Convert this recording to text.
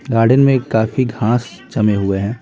Garden में काफी घास चमे हुए हैं।